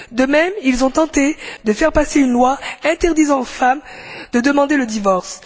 De même, ils ont tenté de faire passer une loi interdisant aux femmes de demander le divorce.